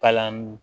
Palan